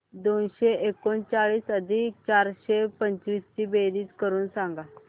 दोनशे एकोणचाळीस अधिक चारशे पंचवीस ची बेरीज करून सांगा